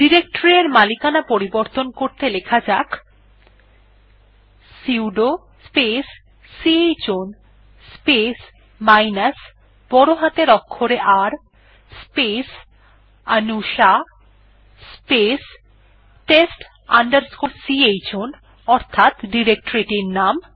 directory এর মালিকানা পরিবর্তন করতে লেখা যাক sudo space chown space minus বড় হাতের অক্ষরে R স্পেস অনুষা স্পেস test chown অর্থাৎ ডিরেকটরি এর নাম